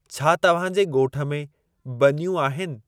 छा तव्हां जे गोठ में ब॒नियूं आहिनि?